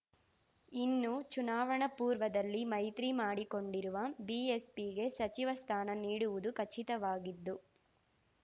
ಇನ್ನು ಚುನಾವಣಾ ಪೂರ್ವದಲ್ಲಿ ಮೈತ್ರಿ ಮಾಡಿಕೊಂಡಿರುವ ಬಿಎಸ್‌ಪಿಗೆ ಸಚಿವ ಸ್ಥಾನ ನೀಡುವುದು ಖಚಿತವಾಗಿದ್ದು